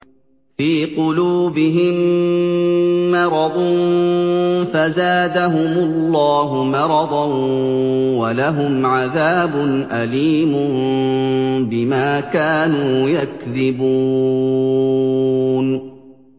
فِي قُلُوبِهِم مَّرَضٌ فَزَادَهُمُ اللَّهُ مَرَضًا ۖ وَلَهُمْ عَذَابٌ أَلِيمٌ بِمَا كَانُوا يَكْذِبُونَ